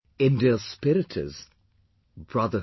India's spirit is brotherhood